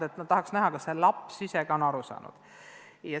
Õpetajad tahavad näha, kas ka laps ise on õpitust aru saanud.